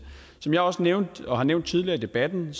som jeg også nævnte og har nævnt tidligere i debatten